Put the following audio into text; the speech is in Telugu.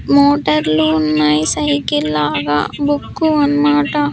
మోటార్లు ఉన్నాయి సైకిల్ లాగా బుక్కు అన్ మాట--